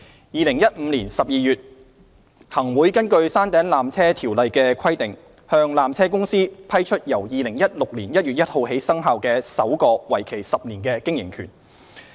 2015年12月，行政長官會同行政會議根據《山頂纜車條例》的規定，向山頂纜車有限公司批出由2016年1月1日起生效的首個為期10年的經營權。